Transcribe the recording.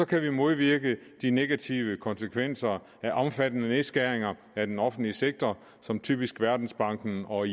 kan modvirke de negative konsekvenser af omfattende nedskæringer af den offentlige sektor som typisk verdensbanken og